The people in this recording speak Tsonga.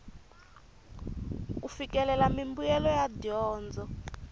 ku fikelela mimbuyelo ya dyondzo